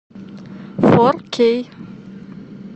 фор кей